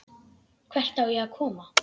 Hvert á ég að koma?